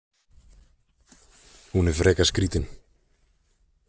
Hún er frekar skrítin.